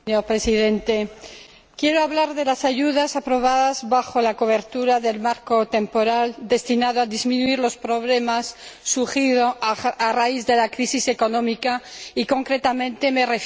Señor Presidente, quiero hablar de las ayudas aprobadas bajo la cobertura del marco temporal destinado a disminuir los problemas surgidos a raíz de la crisis económica y, concretamente, de